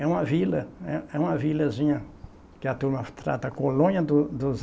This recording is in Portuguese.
É uma vila, é é uma vilazinha que a turma trata colônia do dos